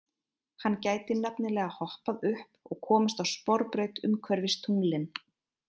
Hann gæti nefnilega hoppað upp og komist á sporbraut umhverfis tunglin.